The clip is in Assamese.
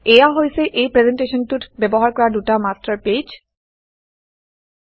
এয়া হৈছে এই প্ৰেজেণ্টেশ্যনটোত ব্যৱহাৰ কৰা দুটা মাষ্টাৰ পেজেছ মাষ্টাৰ পেজ